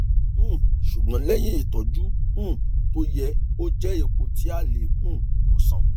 um ṣùgbọn lẹyìn ìtọjú um tó yẹ ó jẹ ipò tí a lè um wòsàn